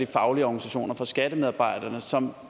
faglige organisationer fra skattemedarbejderne som